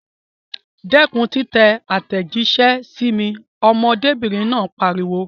Dẹ́kun títẹ àtẹ̀jíṣẹ́ sí mi! Ọmọdébìnrin náà pariwo.